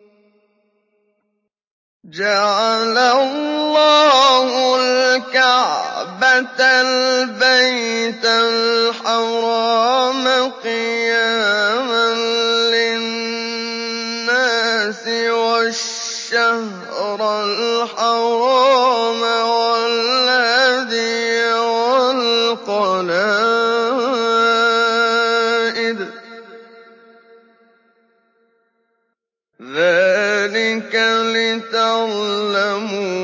۞ جَعَلَ اللَّهُ الْكَعْبَةَ الْبَيْتَ الْحَرَامَ قِيَامًا لِّلنَّاسِ وَالشَّهْرَ الْحَرَامَ وَالْهَدْيَ وَالْقَلَائِدَ ۚ ذَٰلِكَ لِتَعْلَمُوا